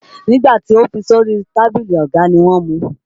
Nígbà tí o fi sórí tábìlì ọ̀gá ni wọ́n mu.